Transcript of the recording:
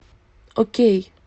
окей